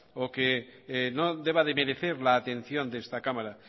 o que no deba de merecer la atención de esta cámara